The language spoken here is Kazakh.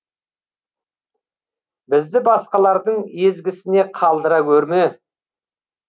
бізді басқалардың езгісіне қалдыра гөрме